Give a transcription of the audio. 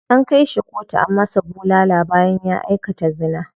An kai shi kotu an masa bulala bayan ya aikata zina.